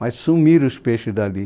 Mas sumiram os peixes dali.